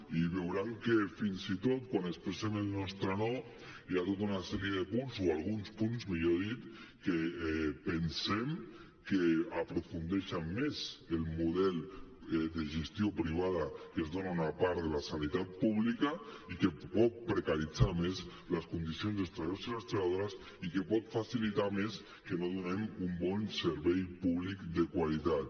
i veuran que fins i tot quan expressem en nostre no hi ha tota una sèrie de punts o alguns punts millor dit que pensem que aprofundeixen més el model de gestió privada que es dona en una part de la sanitat pública i que pot precaritzar més les condicions dels treballadors i les treballadores i que pot facilitar més que no donem un bon servei públic de qualitat